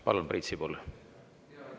Palun, Priit Sibul!